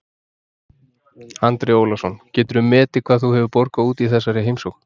Andri Ólafsson: Geturðu metið hvað þú hefur borgað út í þessari heimsókn?